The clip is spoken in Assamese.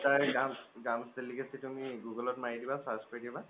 delicacy তুমি google ত মাৰি দিবা search কৰি দিবা